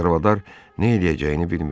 Çarvadar nə eləyəcəyini bilmirdi.